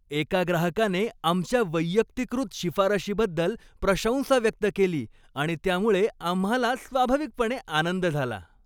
एका ग्राहकाने आमच्या वैयक्तिकृत शिफारशीबद्दल प्रशंसा व्यक्त केली आणि त्यामुळे आम्हाला स्वाभाविकपणे आनंद झाला.